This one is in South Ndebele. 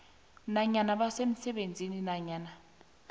nanyana basemsebenzini nanyana